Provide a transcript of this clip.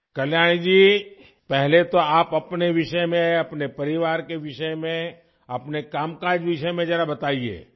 کلیانی جی، سب سے پہلے ہمیں اپنے بارے میں، اپنے خاندان کے بارے میں، اپنے کام کے بارے میں بتائیں